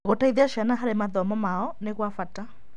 Gũciteithia ciana harĩ mathomo mao nĩ gwa bata.